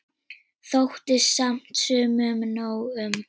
Þótti samt sumum nóg um.